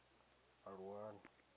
aluwani